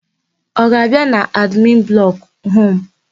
Ọ ga-abịa n'admin blọkụ hụ mụ?